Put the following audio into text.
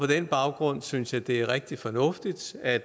den baggrund synes jeg det er rigtig fornuftigt at